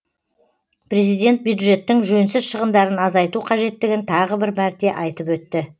президент бюджеттің жөнсіз шығындарын азайту қажеттігін тағы бір мәрте айтып өтті